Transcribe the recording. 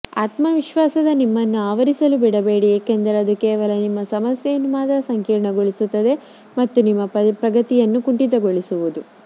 ಆತ್ಮವಿಶ್ವಾಸದ ನಿಮ್ಮನ್ನು ಆವರಿಸಲು ಬಿಡಬೇಡಿ ಏಕೆಂದರೆ ಅದು ಕೇವಲ ನಿಮ್ಮ ಸಮಸ್ಯೆಯನ್ನು ಮಾತ್ರ ಸಂಕೀರ್ಣಗೊಳಿಸುತ್ತದೆ ಮತ್ತು ನಿಮ್ಮ ಪ್ರಗತಿಯನ್ನು ಕುಂಠಿತಗೊಳಿಸುವುದು